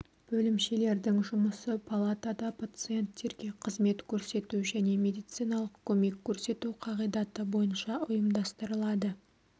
бөлімшелердің жұмысы палатада пациенттерге қызмет көрсету және медициналық көмек көрсету қағидаты бойынша ұйымдастырылады